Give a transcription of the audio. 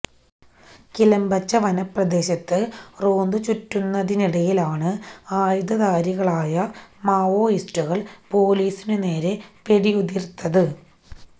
കിലംബെച്ച വനപ്രദേശത്ത് റോന്തു ചുറ്റുന്നതിനിടയിലാണ് ആയുധധാരികളായ മാവോയിസ്റ്റുകള് പൊലിസിനു നേരെ വെടിയുതിര്ത്തത്